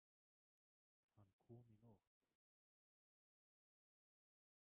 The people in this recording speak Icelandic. Hann kom í nótt.